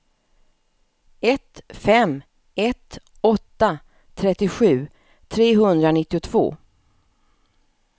ett fem ett åtta trettiosju trehundranittiotvå